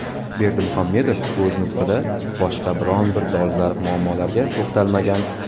Berdimuhammedov o‘z nutqida boshqa biron bir dolzarb muammolarga to‘xtalmagan.